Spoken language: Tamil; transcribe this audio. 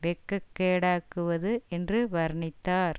வெட்கக்கேடாக்குவது என்று வர்ணித்தார்